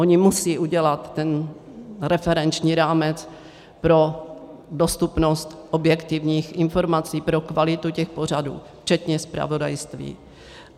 Oni musejí udělat ten referenční rámec pro dostupnost objektivních informací, pro kvalitu těch pořadů, včetně zpravodajství.